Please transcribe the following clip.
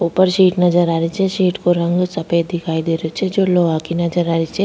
ऊपर सीट नजर आ रही छे सीट को रंग सफ़ेद दिखाई दे रो छे जो लोहा की नजर आ रही छे।